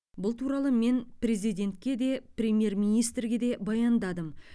бұл туралы мен президентке де премьер министрге де баяндадым